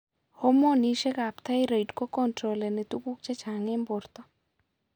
Hormonisiek ab thyroid kocontroleni tuguk chechang eng' borto